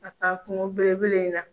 Ka taa kungo bele bele in na.